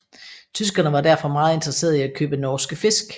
Tyskerne var derfor meget interesserede i at købe norske fisk